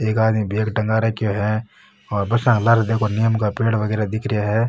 एक आदमी बेग टगा रखो है और बस के लार देखो निम के पेड़ वगेरा दिख रखे है।